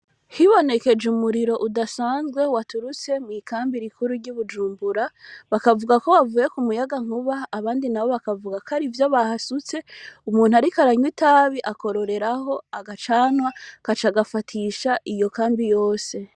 Hibonekeje umuriro udasanzwe waturutse mw'ikambi rikuru ry'ubujumbura bakavuga ko bavuye ku muyaga nkuba abandi na bo bakavuga ko ari ivyo bahasutse umuntu, ariko aranywa itabi akororeraho agacanwa kaca agafatisha iyo kambi yose.